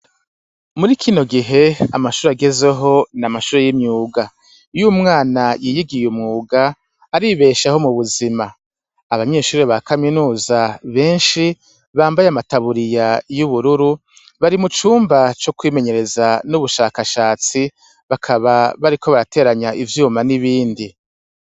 Muri kino gihe amashuri agezeho ni amashuru y'imyuga iyoumwana yiyigiye umwuga aribeshaaho mu buzima abanyeshurii ba kaminuza benshi bambaye amataburiya y'ubururu bari mu cumba co kwimenyereza n'ubushakashatsi bakaba bariko barateranya ivyo roma nibindi.